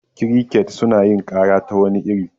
Kirikets suna yin kara ta wani iri.